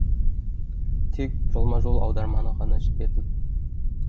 тек жолма жол аударманы ғана жібердім